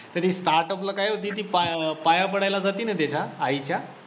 तरी startup ला काय होती ती पाय पाया पडायला जाती ना त्याच्या आईच्या